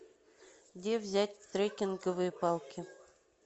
где взять треккинговые палки